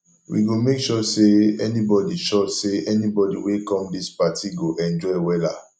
we go make sure sey anybodi sure sey anybodi wey come dis party go enjoy wella